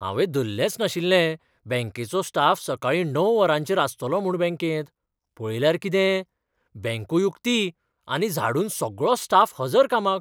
हावें धल्लेंच नाशिल्लें बँकेचो स्टाफ सकाळीं णव वरांचेर आसतलो म्हूण बँकेंत. पळयल्यार किते? बँकूय उक्ती आनी झाडून सगळो स्टाफ हजर कामाक!